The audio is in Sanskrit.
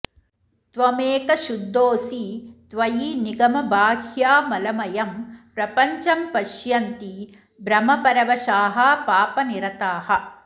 त्वमेकः शुद्धोऽसि त्वयि निगमबाह्यामलमयं प्रपञ्चं पश्यन्ति भ्रमपरवशाः पापनिरताः